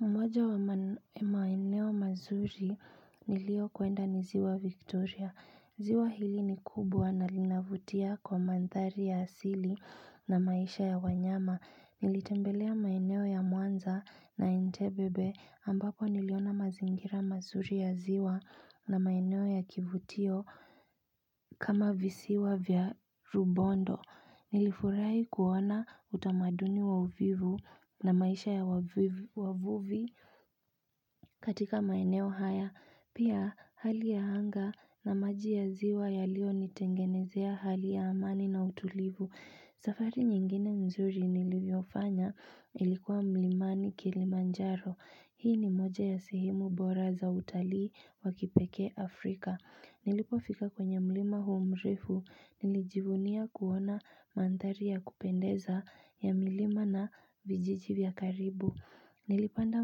Mmoja wa maeneo mazuri nilio kwenda ni ziwa Victoria. Ziwa hili ni kubwa na linavutia kwa mandhari ya asili na maisha ya wanyama. Nilitembelea maeneo ya muanza na entebebe ambapo niliona mazingira mazuri ya ziwa na maeneo ya kivutio kama visiwa vya rubondo. Nilifurahi kuona utamaduni wa uvivu na maisha ya wavuvi katika maeneo haya. Pia hali ya hanga na maji ya ziwa yalio nitengenezea hali ya amani na utulivu. Safari nyingine mzuri niliofanya ilikuwa mlimani kilimanjaro hii ni moja ya sehemu bora za utalii wakipeke Afrika nilipofika kwenye mlima hu mrefu nilijivunia kuona manthari ya kupendeza ya milima na vijiji vya karibu nilipanda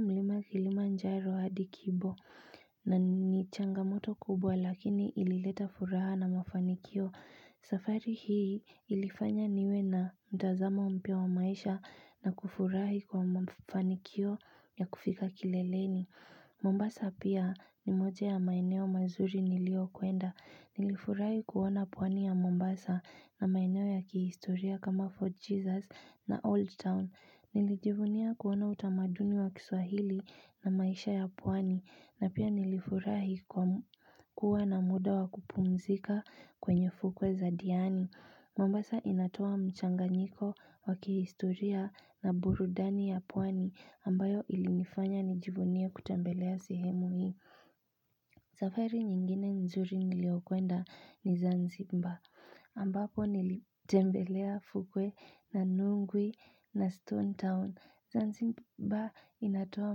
mlima kilimanjaro hadi kibo na ni changamoto kubwa lakini ilileta furaha na mafanikio safari hii ilifanya niwe na mtazamo mpya wa maisha na kufurahi kwa mfanikio ya kufika kileleni. Mombasa pia ni moja ya maeneo mazuri nilio kuenda. Nilifurahi kuona pwani ya Mombasa na maeneo ya kihistoria kama Fort Jesus na Old Town. Nilijivunia kuona utamaduni wa kiswahili na maisha ya pwani. Na pia nilifurahi kuwa na muda wa kupumzika kwenye fukwe za diani. Mombasa inatoa mchanganyiko wakihistoria na burudani ya pwani ambayo ilinifanya nijivunie kutembelea sehemu hii. Safari nyingine nzuri niliokwenda ni Zanzibar ambapo nilitembelea fukwe na Nungwi na Stone Town. Zanzibar inatoa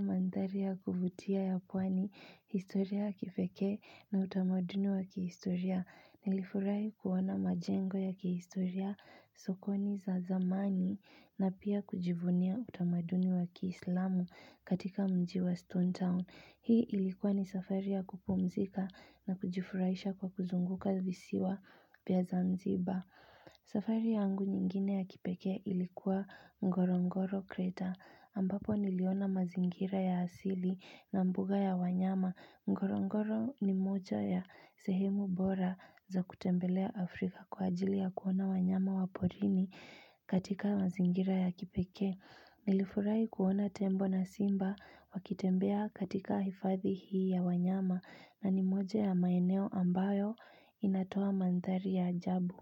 mandhari ya kuvutia ya pwani historia kipeke na utamaduni wa kihistoria. Nilifurahi kuwana majengo ya kihistoria sokoni za zamani na pia kujivunia utamaduni wa kihislamu katika mji wa Stone Town. Hii ilikuwa ni safari ya kupumzika na kujifuraisha kwa kuzunguka visiwa vya Zanzibar. Safari yangu nyingine ya kipeke ilikuwa Ngorongoro creta ambapo niliona mazingira ya asili na mbuga ya wanyama. Ngorongoro ni moja ya sehemu bora za kutembelea Afrika kwa ajili ya kuona wanyama waporini katika mazingira ya kipeke. Nilifurahi kuona tembo na simba wakitembea katika hifadhi hii ya wanyama na ni moja ya maeneo ambayo inatoa manthari ya ajabu.